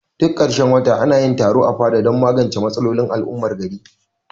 Duk karshen wata anayin taro a fada dan magance matsalolin al'ummar gari